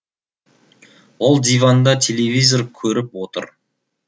ол диванда телевизор көріп отыр